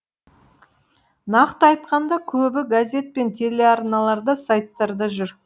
нақты айтқанда көбі газет пен телеарналарда сайттарда жүр